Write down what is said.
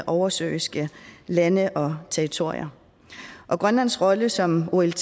oversøiske lande og territorier og grønlands rolle som olt